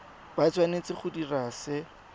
ba tshwanetse go dira se